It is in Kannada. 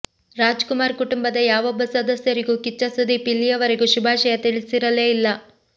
ರಾಜ್ಕುಮಾರ್ ಕುಟುಂಬದ ಯಾವೊಬ್ಬ ಸದಸ್ಯರಿಗೂ ಕಿಚ್ಚ ಸುದೀಪ್ ಇಲ್ಲಿಯ ವರೆಗೂ ಶುಭಾಷಯ ತಿಳಿಸಿರಲೇ ಇಲ್ಲ